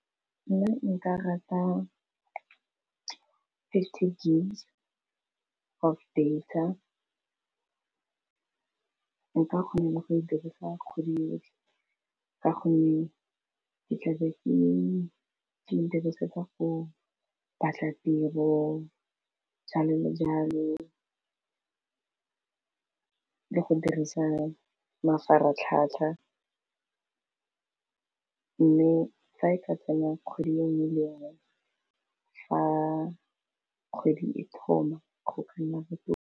Nna nka rata fifty gig of data nka kgona le go e dirisa kgwedi yotlhe ka gonne ke tlabe ke e dirisetsa go batla tiro, jalo le jalo, le go dirisa mafaratlhatlha, mme fa e ka tsena kgwedi engwe le engwe fa kgwedi e thoma go ka nna botoka.